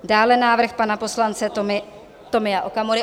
Dále návrh pana poslance Tomia Okamury.